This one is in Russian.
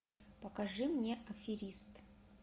покажи мне аферист